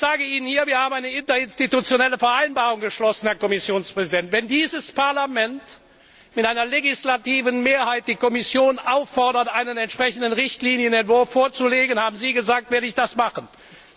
Und wir haben eine Interinstitutionelle Vereinbarung geschlossen, Herr Kommissionspräsident Wenn dieses Parlament mit einer legislativen Mehrheit die Kommission auffordert, einen entsprechenden Richtlinienentwurf vorzulegen, haben Sie zugesagt, das zu tun.